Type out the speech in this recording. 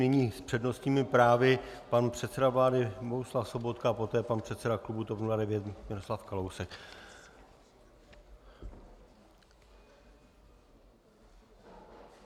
Nyní s přednostními právy pan předseda vlády Bohuslav Sobotka a poté pan předseda klubu TOP 09 Miroslav Kalousek.